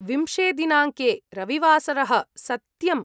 विंशे दिनाङ्के रविवासरः, सत्यम् ?